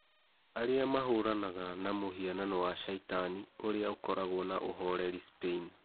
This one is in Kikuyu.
Arĩ a mahũranaga na mũhianano wa caitani ũrĩ a ũkoragwo na ũhoreri Spain